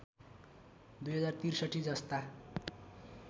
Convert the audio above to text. २०६३ जस्ता